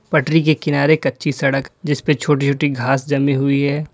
पटरी के किनारे कच्ची सड़क जीस पे छोटी छोटी घास जमी हुई है।